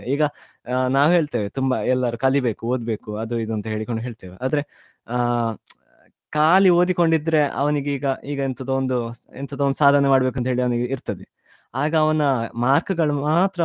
ಈಗ ನಾವ್ ಹೇಳ್ತೆವೆ ತುಂಬಾ ಎಲ್ಲರೂ ಕಲಿಬೇಕು ಓದ್ಬೇಕು ಅದು ಇದು ಅಂತ ಹೇಳಿಕೊಂಡು ಹೇಳ್ತೆವೆ ಆದ್ರೆ ಆ ಖಾಲಿ ಓದಿಕೊಂಡು ಇದ್ರೆ ಅವನಿಗೆ ಈಗ ಈಗ ಎಂತದ ಒಂದು ಸಾಧನೆ ಮಾಡ್ಬೇಕು ಅಂತೆಳಿ ಅವನಿಗೆ ಇರ್ತದೆ ಆಗ ಅವನ mark ಗಳು ಮಾತ್ರ .